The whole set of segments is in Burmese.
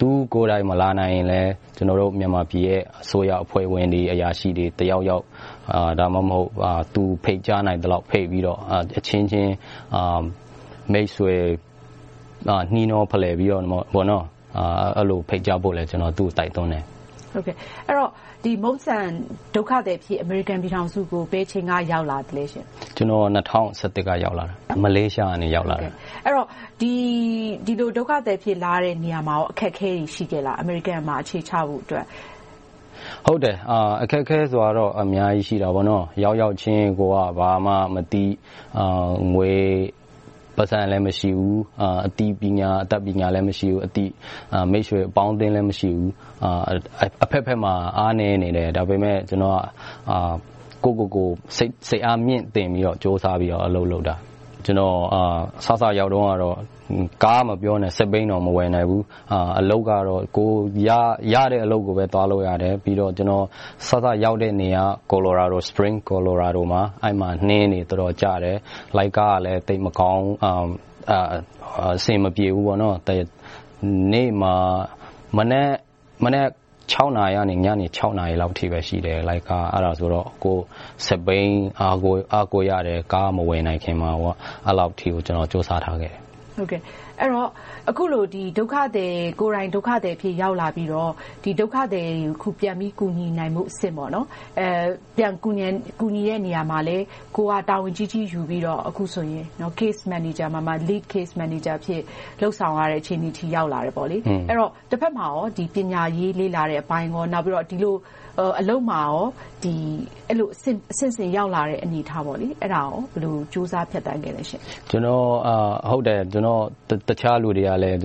သူကိုယ်တိုင် မလာနိုင်ရင်လဲ ကျနော်တို့ မြန်မာပြည်ရဲ့ အစိုးရအဖွဲ့ဝင်တွေ၊ အရာရှိတွေ တက်ရောက်။ ဒါမှမဟုတ် သူ ဖိတ်ကြားနိုင်သလောက်ဖိတ်ပြီးတော့ အချင်းချင်းမိတ်ဆွေ နှီးနှောဖလှယ်ပြီးတော့ အဲဒီလိုဖိတ်ကြားဖို့လည်း ကျနော်တိုက်တွန်းတယ်။ အဲဒီတော့ Mungsan ဒုက္ခသည်အဖြစ်နဲ့ အမေရိကန်ပြည်ထောင်စုကို ဘယ်အချိန်က ရောက်လာသလဲ။ ကျနော် ၂၀၁၁ က ရောက်ရှိလာခဲ့တယ်။ မလေးရှားကတဆင့် ရောက်လာတာပါ။ ဒီလိုဒုက္ခသည်အဖြစ် လာရတဲ့အချိန်မှာ အခက်အခဲတွေ ရှိခဲ့လား။ အမေရိကန်မှာ အခြေချဖို့အတွက် အခက်အခဲကတော့ အများကြီးရှိတယ်။ ရောက်ရောက်ချင်း ကိုယ်က ဘာမှမသိ။ ငွေ၊ ပိုက်ဆံလည်း မရှိဘူး။ အသိပညာ၊ အတတ်ပညာလည်း မရှိဘူး။ အသိမိတ်ဆွေအပေါင်းအသင်းလည်း မရှိဘူး။ အဘက်ဘက်မှာ အားနည်းနေတယ်။ ဒါပေမဲ့ ကျနော်က ကိုယ့်ကိုယ်ကို စိတ်အားမြှင့်တင်ပြီးတော့ ကြိုးစားပြီးတော့ အလုပ်လုပ်ခဲ့တယ်။ ကျနော် စစရောက်တုန်းက ကားမပြောနဲ့၊ စက်ဘီးတောင် မဝယ်နိုင်ဘူး။ အလုပ်ကတော့ ကိုယ်ရတဲ့အလုပ်ကိုပဲ သွားလုပ်ရတယ်။ ပြီးတော့ စစရောက်တဲ့နေရာက Spring, Colorado မှာ အဲဒီမှာ နှင်းတွေတော်တော်ကျတယ်။ လိုင်းကားကလည်း သိပ်မကောင်းဘူး။ အဆင်မပြေဘူး။ မနက် နာရီကနေ ညနေ နာရီအထိလောက်ပဲ လိုင်းကားက ရှိတယ်။ အဲဒါဆိုတော့ စက်ဘီးကို အားကိုးရတယ်။ ကားမဝယ်နိုင်ခင်မှာ။ အဲဒီလောက်အထိကို ကြိုးစားခဲ့တယ်။ အဲဒီတော့ ကိုယ်တိုင်ဒုက္ခသည်အဖြစ် ရောက်လာခဲ့ပြီးတော့ ဒုက္ခသည်တွေကို ပြန်ပြီးတော့ ကူညီနိုင်ဖို့အဆင့် - ပြန်ကူညီတဲ့နေရာမှာလည်း ကိုယ်ကတာဝန်ကြီးကြီး ယူပြီးတော့ Case Manager မှာ Lead Case Manager အဖြစ် လုပ်ဆောင်ရတဲ့ အခြေအနေအထိ ရောက်လာခဲ့တယ်။ အဲဒီတော့ တဘက်မှာ ပညာရေးလေ့လာတဲ့အပိုင်းကော၊ နောက်ပြီးတော့ အလုပ်မှာကော အဆင့်ဆင့်ရောက်လာတဲ့အနေအထား အဲဒါကို ဘယ်လိုကြိုးစားဖြတ်သန်းခဲ့ပါလဲ။ ကျနော်ကို တခြားလူတွေလည်း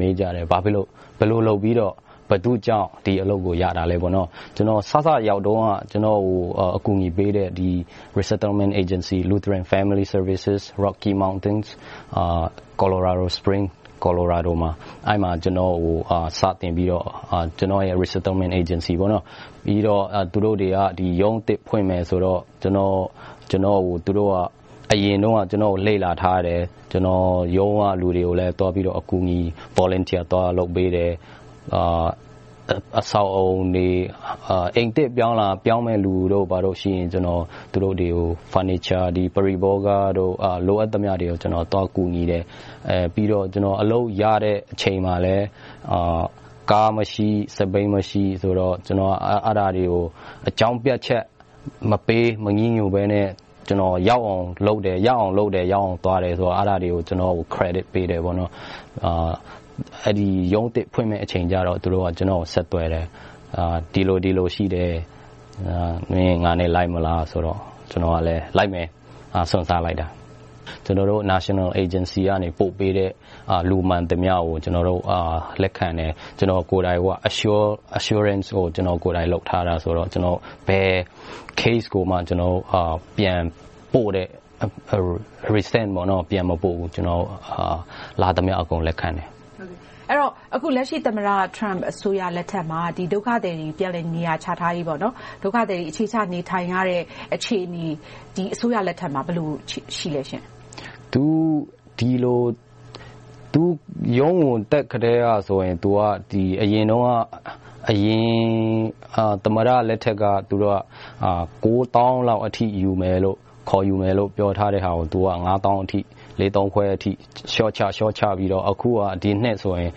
မေးကြတယ်။ ဘာဖြစ်လို့၊ ဘယ်လိုလုပ်ပြီတော့၊ ဘယ်သူကြောင့် ဒီအလုပ်ကို ရတာလဲ။ ကျနော် စစရောက်တုန်းက ကျနော်ကို အကူအညီပေးတဲ့ Resettlement Agency Lutheran Family Services, Rocky Mountain, Colorado Spring, Colorado မှာ အဲဒီမှာ စတင်ပြီးတော့ သူတို့က ရုံးအသစ်ဖွင့်မယ်ဆိုတော့ ကျနော်ကို သူတို့က အရင်တုန်းက လေ့လာထားတယ်။ ရုံးကလူတွေကို အကူအညီ Volunteer လုပ်ပေးတယ်။ အိမ်သစ်ပြောင်းလာမယ့် လူတွေရှိရင် သူတို့တွေကို furniture ပရိဘောဂတွေကို လိုအပ်သလောက် သွားကူညီတယ်။ ပြီးနောက် အလုပ်ရတဲ့အချိန်မှာလည်း ကားမရှိ၊ စက်ဘီးမရှိတော့ အဲဒါတွေကို အကြောင်းပြချက်မပေး၊ မညည်းညူးဘဲနဲ့ ကျနော် ရအောင်လုပ်တယ်။ ရအောင်သွားတယ်ဆိုတာတွေကို Credit ပေးတယ်။ အဲဒီရုံးသစ်ဖွင့်မယ်အချိန်ကြတော့ သူတို့က ကျနော်ကို ဆက်သွယ်တယ်။ ဒီလိုရှိတယ် - မင်း ငါနဲ့လိုက်မလားဆိုတော့ ကျနော်ကလည်းလိုက်မယ်ဆိုပြီး စွန့်စားလိုက်တာ။ ကျနော်တို့ National Agency က ပို့ပေးသမျှ လူမှန်သမျှကို ကျနော်တို့ လက်ခံတယ်။ ကျနော်တို့ကိုယ်တိုင် Ensurance ကို ကျနော်ကိုယ်တိုင်လုပ်ထားတယ်ဆိုတော့ ဘယ် Case ကိုမှ ပြန်မပို့ဘူး။ လာသမျှအကုန် လက်ခံတယ်။ အဲဒီတော့ လက်ရှိ သမ္မတ Trump အစိုးရလက်ထက်မှာ ဒုက္ခသည်တွေ ပြန်လည်နေရာချထားရေး၊ ဒုက္ခသည်တွေ အခြေချနေထိုင်ရတဲ့ အခြေအနေက ဒီအစိုးရလက်ထက်မှာ ဘယ်လိုရှိပါလဲ။ သူ သမ္မတဖြစ်လာကတည်းကဆိုရင် အရင်ကတည်းက အရင်သမ္မတလက်ထက်က ကိုးသောင်းလောက်အထိ ခေါ်ယူမယ်လို့ ပြောထားတဲဟာကို ငါးသောင်းအထိ၊ လေးသောင်းခွဲအထိ လျှော့ချခဲ့ပြီးတော့ ဒီနှစ်ဆိုရင်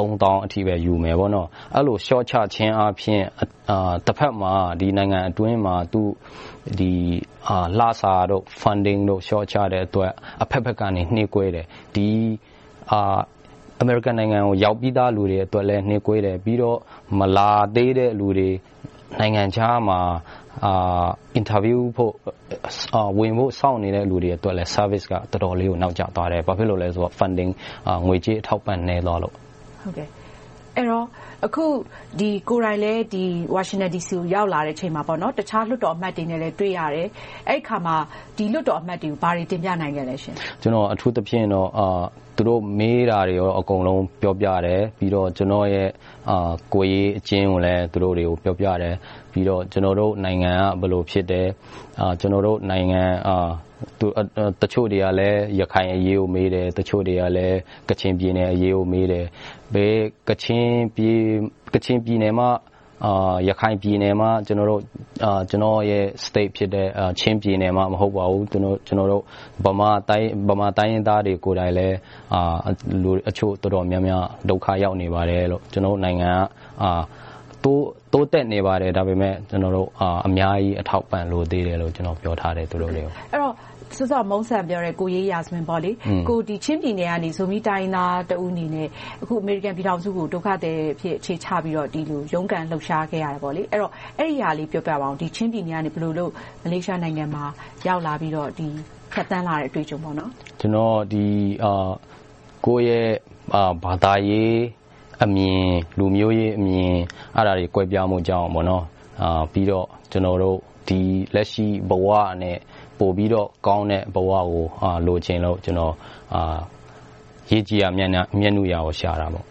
သုံးသောင်းအထိပဲ ယူခဲ့တယ် - အဲဒီလို လျှော့ချခြင်းဖြင့် တဘက်မှာ နိုင်ငံအတွင်းမှာ လစာတို့၊ Funding တို့ လျှော့ချတဲ့အတွက် အဘက်ဘက်က နှေးကွေးတယ်။ ဒါဟာက အမေရိကန်ပြည်ထောင်စုက ရောက်ပြီသားလူတွေအတွက်လည်း နှေးကွေးတယ်။ ပြီးတော့ မလာသေးတဲ့လူတွေ၊ နိုင်ငံခြားမှာ အင်တာဗျူးဖို့၊ ဝင်ဖို့စောင့်နေတဲ့လူတွေအတွက် Services ကလည်း တော်တော်လေးကို နောက်ကျသွားတယ်။ ဘာဖြစ်လို့လဲဆိုတော့ ငွေကြေးအထောက်အပံ့တွေ နည်းသွားလို့။ အခုကိုယ်တိုင်လည်း ဝါရှင်တန်ဒီစီကို ရောက်လာချိန်မှာ တခြားလွှတ်တော်အမတ်တွေနဲ့လည်း တွေ့ရတယ်။ အဲဒီအခါမှာ ဒီလွှတ်တော်အမတ်တွေကို ဘာတွေတင်ပြနိုင်ခဲ့လဲ။ ကျနော်အနေနဲ့ အထူးသဖြင့် သူတို့မေးတာတွေကို အကုန်လုံးပြောပြတယ်။ ပြီးတော့ ကျနော်ရဲ့ ကိုယ်ရေးအကျဉ်းကိုလည်း သူတို့တွေကို ပြောပြတယ်။ နောက် ကျနော်တို့နိုင်ငံက ဘယ်လိုဖြစ်တယ်။ ကျနော်တို့နိုင်ငံရဲ့ ရခိုင်အရေးကို တချို့တွေေးမတယ်။ တချို့တွေလည်း ကချင်ပြည်နယ်အရေးကို မေးတယ်။ ကချင်ပြည်နယ်မှ၊ ရခိုင်ပြည်နယ်မှ ကျနော်ရဲ့ ပြည်နယ်ဖြစ်တယ်။ ချင်းပြည်နယ်မှ မဟုတ်ပါဘူး။ ဗမာတိုင်းရင်းသားတွေ ကိုယ်တိုင်လည်း တချို့တော်တော်များများ ဒုက္ခ ရောက်နေပါတယ်။ ကျနော်တို့နိုင်ငံက တိုးတက်နေပါတယ်။ ဒါပေမဲ့ ကျနော်တို့ အများကြီးအထောက်အပံ့တွေ လိုသေးတယ်လို့ သူတိုကို ပြောခဲ့ပါတယ်။ အဲဒီတော့ စောစောကပြောတဲ့ ကိုယ်ရေးရာဇဝင် - ချင်းပြည်နယ်ကနေ ဇူမီ တိုင်းရင်းသားတဦးအနေနဲ့ အခု အမေရိကန်ပြည်ထောင်စုကို ဒုက္ခသည်အဖြစ် အခြေချပြီးတော့ ဒီလိုရုန်းကန်လှုပ်ရှားခဲ့ရတယ်။ အဲဒါလေးကို ပြောပြပါအုံး။ ချင်းပြည်နယ်ကနေ မလေးရှားနိုင်ငံမှာ ရောက်လာပြီး ဖြတ်သန်းလာတဲ့ အတွေ့အကြုံ။ ကျနော်က ကိုယ့်ရဲ့ ဘာသာရေးအမြင်၊ လူမျိုးရေးအမြင် အဲဒါတွေ ကွဲပြားမှုကြောင့် ပြီးတော့ လက်ရှိဘဝထက်ကောင်းတဲ့ ပိုပြီးတော့ ကောင်းတဲ့ဘဝကို လိုချင်လို့ - ရေကြည်ရာ မျက်နုရာ ဖြစ်ခဲ့ကြတာပေါ့။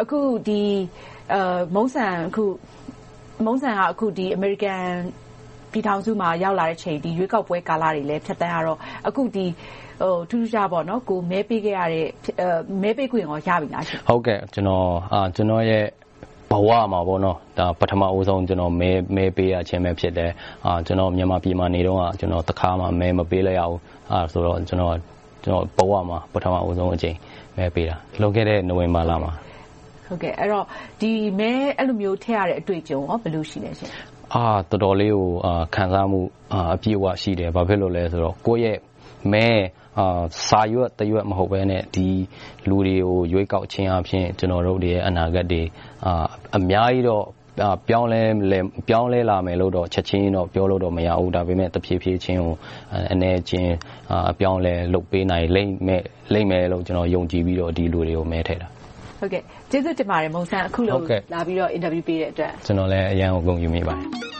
အခု Mungsan က အမေရိကန်ပြည်ထောင်စုမှာ ရောက်လာတဲ့အချိန်၊ ရွေးကောက်ပွဲကာလတွေလည်း ဖြတ်သန်းခဲ့ရတော့ အခုထူးထူးခြားခြား - ကိုယ်မဲပေးခဲ့တဲ့၊ မဲပေးခွင့်ကော ရပြီလား။ ကျနော့်ရဲ့ဘဝမှာ ပထမဦးဆုံး မဲပေးရခြင်း ဖြစ်တယ်။ မြန်မာပြည်မှာ နေတုန်းက တခါမှ မဲမပေးလိုက်ရဘူး။ အဲဒါ ကျနော့်ဘဝမှာ ပထမဦးဆုံးအကြိမ် မဲပေးခွင့်ရတာ။ လွန်ခဲ့တဲ့ နိုဝင်ဘာလမှာ ။ အဲဒီလိုမျိုး မဲထည့်ခွင့်ရတဲ့ အတွေ့အကြုံ ဘယ်လိုရှိလဲ။ တော်တော်လေးကို ခံစားမှု၊ အပြည့်အဝရှိတယ်။ ဘာဖြစ်လို့လဲဆိုတော့ ကိုယ့်ရဲ့မဲဟာ စာရွက်တရွက် မဟုတ်ဘဲနဲ့ လူတွေကို ရွေးကောက်ခြင်းအားဖြင့် ကျနော်တို့တွေရဲ့ အနာဂတ်တွေ အများကြီးတော့ ပြောင်းလဲလာမယ်လို့တော့ ချက်ချင်းကြီး ပြောလို့မရဘူး။ ဒါပေမဲ့ တဖြည်းဖြည်းချင်း၊ အနည်းအကျဉ်း အပြောင်းအလဲ လုပ်ပေးနိုင်လိမ့်မယ်လို့ ကျနော် ယုံကြည်ပြီးတော့ ဒီလူတွေကို မဲထည့်ခဲ့တာ။ ကျေးဇူးတင်ပါတယ် Mungsan. အခုလိုလာပြီးတော့ အင်တာဗျူးပေးတဲ့အတွက်။ ကျနော်လည်း အရမ်းကို ဂုဏ်ယူမိပါတယ်